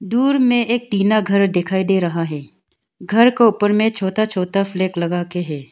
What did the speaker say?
दूर में एक टीना घर दिखाई दे रहा है घर को ऊपर में छोटा छोटा फ्लैग लगाके है।